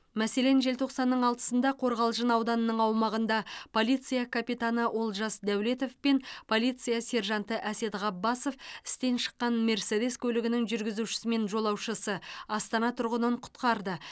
мәселен желтоқсанның алтысында қорғалжын ауданының аумағында полиция капитаны олжас дәулетов пен полиция сержанты әсет ғаббасов істен шыққан мерседес көлігінің жүргізушісі мен жолаушысы астана тұрғынын құтқарды